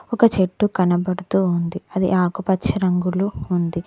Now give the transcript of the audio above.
ఒక చెట్టు కనబడుతూ ఉంది అది ఆకుపచ్చ రంగులో ఉంది.